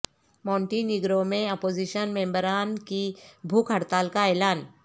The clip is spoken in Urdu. مونٹی نیگرو میں اپوزیشن ممبران کی بھوک ہڑتال کا اعلان